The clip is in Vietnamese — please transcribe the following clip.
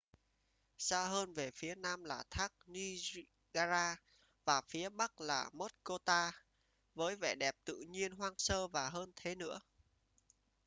xa hơn về phía nam là thác niagara và phía bắc là muskoka với vẻ đẹp tự nhiên hoang sơ và hơn thế nữa